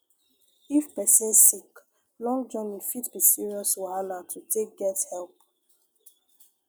if person sick long journey fit be serious wahala totake get help